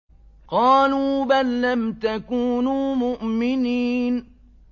قَالُوا بَل لَّمْ تَكُونُوا مُؤْمِنِينَ